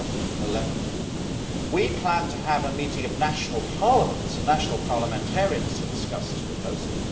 2011. We plan to have a meeting of national parliaments and national parliamentarians to discuss this proposal.